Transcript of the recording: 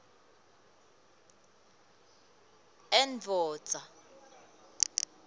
endoda